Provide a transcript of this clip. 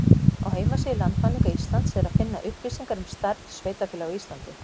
Á heimasíðu Landmælinga Íslands er að finna upplýsingar um stærð sveitarfélaga á Íslandi.